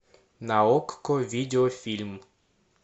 на окко видеофильм